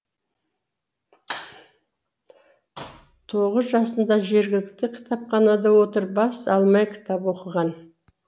тоғыз жасында жергілікті кітапханада отырып бас алмай кітап оқыған